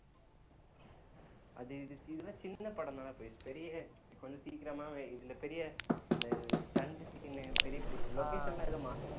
அது இதுக்கு இதெல்லாம் சின்ன படம் தானே பவிஸ் பெரிய கொஞ்சம் சீக்கிரமாகவே இதுல பெரிய அந்த stunt scene பெரிய பெரிய location எல்லாம் எதுவும் மா~